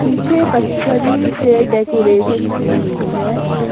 पीछे पथरी से डेकोरेशन की हुई है।